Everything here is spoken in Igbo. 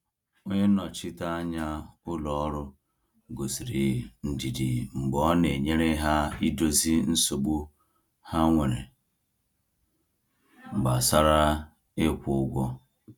Onye nnọchiteanya ụlọ ọrụ gosiri ndidi mgbe ọ na-enyere ha idozi nsogbu ha nwere gbasara ịkwụ ụgwọ.